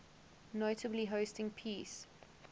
notably hosting peace